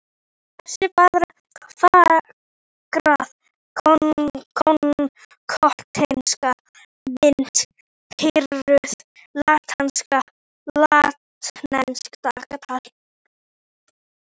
Þessi fagra gotneska mynd prýðir latneskt dagatal.